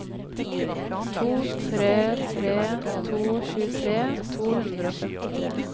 to tre tre to tjuetre to hundre og femtitre